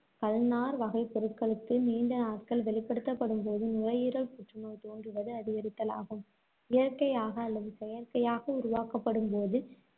கல்நார் வகைப் பொருட்களுக்கு நீண்ட நாட்கள் வெளிப்படுத்தப்படும்போது, நுரையீரல் புற்றுநோய் தோன்றுவது அதிகரித்தல் ஆகும். இயற்கையாக அல்லது செயற்கையாக உருவாக்கப்படும்போது